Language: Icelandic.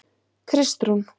Kristrún